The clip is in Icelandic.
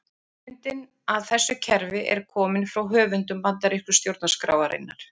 Hugmyndin að þessu kerfi er komin frá höfundum bandarísku stjórnarskrárinnar.